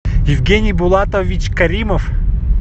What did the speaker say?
евгений булатович каримов